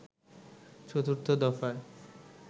চতুর্থ দফায়